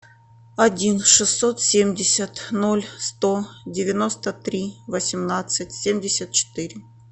один шестьсот семьдесят ноль сто девяносто три восемнадцать семьдесят четыре